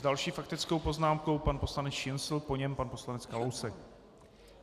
S další faktickou poznámkou pan poslanec Šincl, po něm pan poslanec Kalousek.